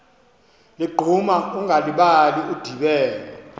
ligquma ungalibali udibene